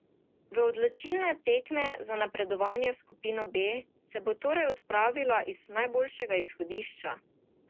V odločilne tekme za napredovanje v skupino B se bo torej odpravila iz najboljšega izhodišča.